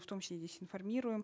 в том числе здесь информируем